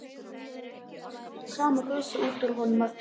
Og nú kom þessi sama gusa út úr honum aftur.